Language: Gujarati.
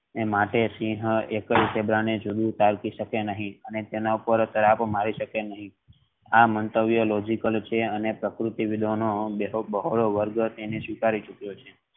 માટે સિંહ એકલ ઝીબ્રા ને ટાળી શકે નહિ અને તે ના પર તડાપ મારી શકે નહિ આ મંતવ્ય logical છે અને પ્રકૃતિ વિધાનો બહલો વર્ગ એને સ્વીકારી શકે છે.